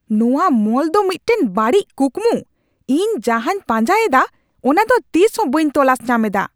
ᱱᱚᱶᱟ ᱢᱚᱞ ᱫᱚ ᱢᱤᱫᱴᱟᱝ ᱵᱟᱹᱲᱤᱡ ᱠᱩᱠᱢᱩ ᱾ᱤᱧ ᱡᱟᱦᱟᱸᱧ ᱯᱟᱸᱡᱟᱭᱮᱫᱟ ᱚᱱᱟᱫᱚ ᱛᱤᱥᱦᱚᱸ ᱵᱟᱹᱧ ᱛᱚᱞᱟᱥ ᱧᱟᱢᱮᱫᱟ ᱾